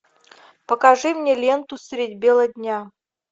покажи мне ленту средь бела дня